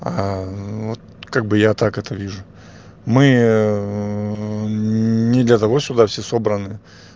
вот как бы я так это вижу мы не для того сюда все собранны